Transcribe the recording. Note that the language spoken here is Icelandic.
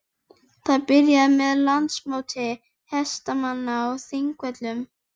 Það byrjaði með Landsmóti hestamanna á Þingvöllum.